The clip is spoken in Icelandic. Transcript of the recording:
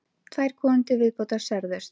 Tvær konur til viðbótar særðust